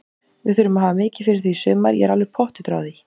Við þurfum að hafa mikið fyrir því í sumar, ég er alveg pottþéttur á því.